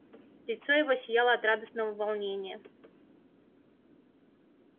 лицо его сияло от радостного волнения